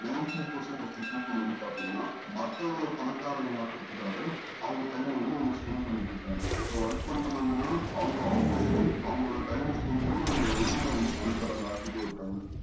ninety percent of people ல வந்து பாத்திங்கனா மக்கள்ள பணக்காரங்க ஆக்குறதுக்காக அவங்க time அ inverse பண்ணி பண்ணிட்டு இருக்காங்க so work பண்றாங்கன்னா அவங்க obviously அவங்களோட time அஹ் spend அவங்க owner அஹ் வந்து பணக்காரங்களா ஆக்கிட்டு இருக்காங்க